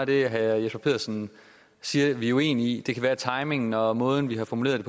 det herre jesper petersen siger vi er uenige i det kan være at timingen og måden vi har formuleret